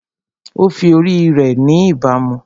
Ó fi ori rẹ̀ ni ìbámu